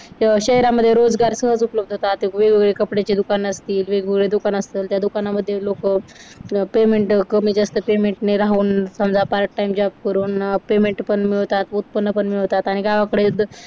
शहरामध्ये रोजगार सहज उपलब्ध होतात ते वेगवेगळ्या कपड्याचे दुकान असते वेगवेगळे दुकान असते मध्ये लोकं पण मी जास्त संध्या पार्ट टाइम जॉब करून पेमेंट पण मिळतात उत्पन्न मिळवतात आणि गावाकडे